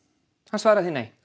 hann svaraði því nei